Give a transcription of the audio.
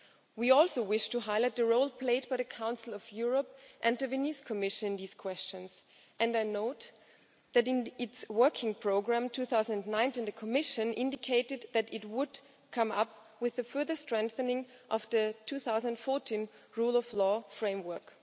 We also wish to highlight the role played by the Council of Europe and the Venice Commission in these questions and I note that in its working programme 2019, the Commission indicated that it would come up with a further strengthening of the 2014 rule of law framework.